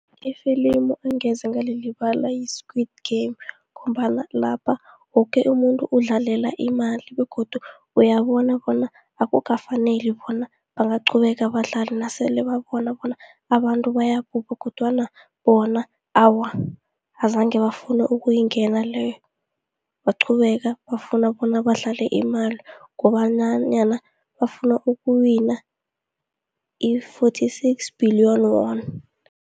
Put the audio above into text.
Ifilimu engeze ngalilibala yi-Squid Game ngombana lapha woke umuntu udlalela imali begodu uyabona bona akukafaneli bona bangaqhubeka badlale nasele babona bona abantu bayabhubha kodwana bona awa, azange bafune ukuyingena leyo, baqhubeka, bafuna bona badlale imali kobanyana bafuna ukuwina i-fourty six billion wan.